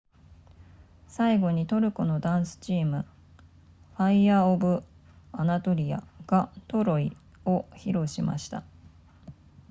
最後にトルコのダンスチームファイヤーオブアナトリアがトロイを披露しました